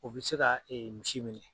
U bɛ se ka misi minɛ